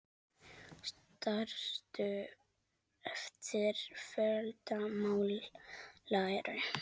Stærstu eftir fjölda mála eru